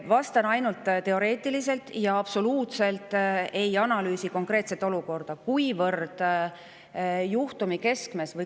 Vastan sellele ainult teoreetiliselt ja absoluutselt ei analüüsi konkreetset olukorda.